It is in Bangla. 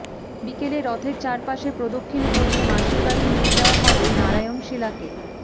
বিকেলে রথের চারপাশে প্রদক্ষিণ করিয়ে মাসির বাড়ি নিয়ে যাওয়া হবে নারায়ণশিলাকে